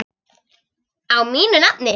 Á mínu nafni?